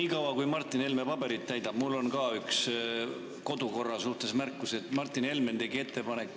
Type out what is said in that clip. Niikaua, kui Martin Helme paberit täidab, on mul ka üks märkus kodukorra kohta.